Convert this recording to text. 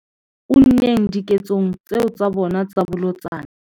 unneng diketsong tseo tsa bona tsa bolotsana.